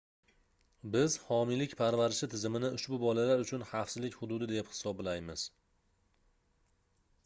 biz homiylik parvarishi tizimini ushbu bolalar uchun xavfsizlik hududi deb hisoblaymiz